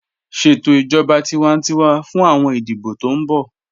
Ṣẹtò ijọba tìwántíwà fún awọn ìdíbọ̀ tó n bọ̀